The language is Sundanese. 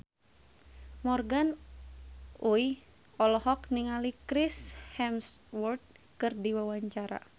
Morgan Oey olohok ningali Chris Hemsworth keur diwawancara